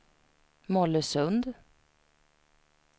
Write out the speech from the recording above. Mollösund